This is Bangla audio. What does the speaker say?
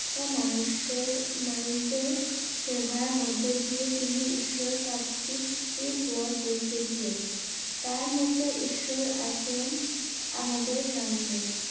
মানুষের মানুষদের সেভার মধ্যে দিয়ে তিনি ঈশ্বর প্রাপ্তি র পথ দেখেছিলেন তার মতে ঈশ্বর আছেন আমাদে সামনে